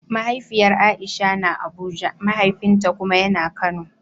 Mahaifiyar Aisha na Abuja, mahaifinta kuma ya na Kano.